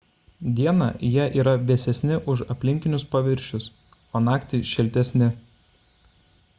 dieną jie yra vėsesni už aplinkinius paviršius o naktį šiltesni